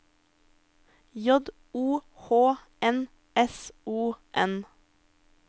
J O H N S O N